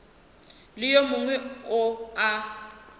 le yo mongwe yo a